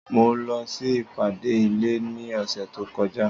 Mo lọ sí ìpàdé ilé ní ọ̀sẹ̀ tó kọjá.